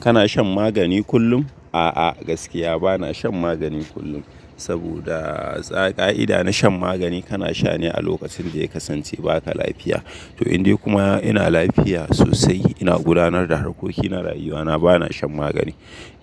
Kana shan magani kullum? A'a, gaskiya bana shan magani kullum. Saboda ka'ida na shan magani kana sha ne a lokacin da ya kasance ba ka lafiya. To, in dai kuma ina lafiya sosai, ina gudanar da harkokin na rayuwa na, bana shan magani.